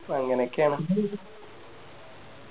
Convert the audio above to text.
അങ്ങനോക്കെയാണ്